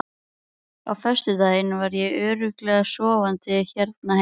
Á föstudaginn var ég örugglega sofandi hérna heima.